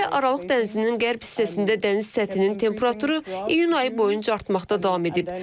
Xüsusilə Aralıq dənizinin qərb hissəsində dəniz səthinin temperaturu iyun ayı boyunca artmaqda davam edib.